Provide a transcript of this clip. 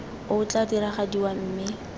o o tla diragadiwa mme